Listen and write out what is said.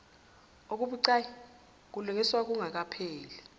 okubucayi kulungiswa engakapheli